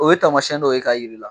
O ye tamasiyɛn dɔw ye k'a jira i la!